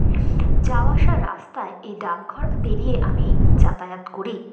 যাওয়া আসার রাস্তায় এই ডাকঘর পেরিয়ে আমি যাতায়াত করি।